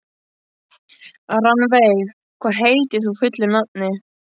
Rannveig, hvað heitir þú fullu nafni?